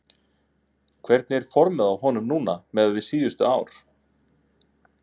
Hvernig er formið á honum núna miðað við síðustu ár?